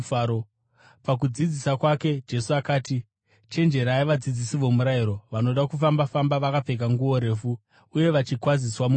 Pakudzidzisa kwake, Jesu akati, “Chenjererai vadzidzisi vomurayiro. Vanoda kufamba-famba vakapfeka nguo refu uye vachikwaziswa mumisika,